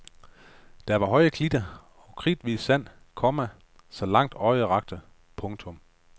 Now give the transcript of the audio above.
Der var høje klitter og kridhvidt sand, komma så langt øjet rakte. punktum